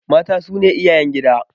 Mata su ne iyayen gida.